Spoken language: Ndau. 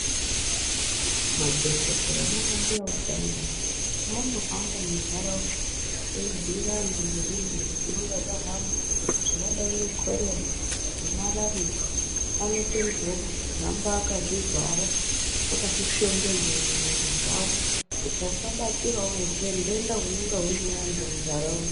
Madhokoteya nana mbuya utsanana paanohamba muntaraunda ebhuyira vantu ngezvindenta zvinenge zvahamba zvakadai nana korera nemarariya anoteedzwa kuhamba akazvivhara akazvishongedza muviridzavo kuti asabatirawo denda hunonga huina vantu muntaraunda.